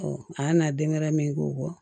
a y'a na den ŋɛrɛ min k'o bɔ